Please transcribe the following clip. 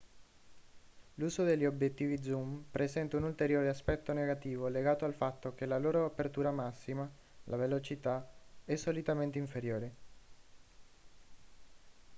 l'uso degli obiettivi zoom presenta un ulteriore aspetto negativo legato al fatto che la loro apertura massima la velocità è solitamente inferiore